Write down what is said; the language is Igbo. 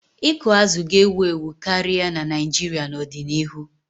Ịkụ azụ̀ ga-ewu ewu karịa na Naijiria n'odinihu.